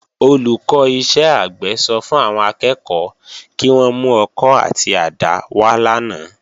Olùkọ́ iṣẹ́ àgbẹ̀ sọ fún àwọn akẹ́kọ̀ọ́ kí wón mú ọkọ́ àti àdá wá lánàá